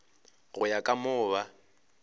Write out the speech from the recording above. go ya ka moo ba